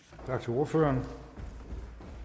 ordfører